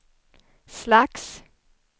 slags